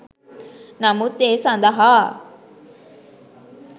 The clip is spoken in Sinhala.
නමුත් ඒ සඳහා